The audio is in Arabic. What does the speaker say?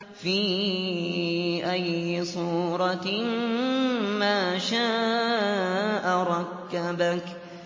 فِي أَيِّ صُورَةٍ مَّا شَاءَ رَكَّبَكَ